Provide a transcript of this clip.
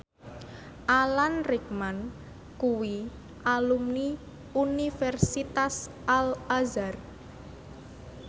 Alan Rickman kuwi alumni Universitas Al Azhar